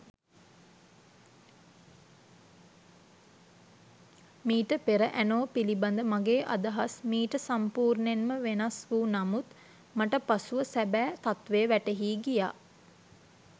මීට පෙර ඇනෝ පිළිබදව මගේ අදහස් මීට සම්පූර්ණයෙන්ම වෙනස් වූ නමුත් මට පසුව සැබෑ තත්වය වැටහී ගියා.